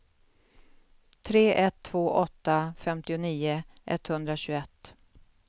tre ett två åtta femtionio etthundratjugoett